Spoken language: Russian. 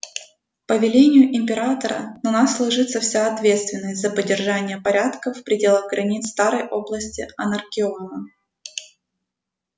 по велению императора на нас ложится вся ответственность за поддержание порядка в пределах границ старой области анаркеона